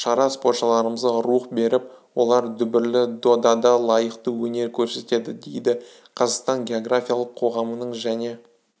шара спортшыларымызға рух беріп олар дүбірлі додада лайықты өнер көрсетеді дейді қазақстан географиялық қоғамының және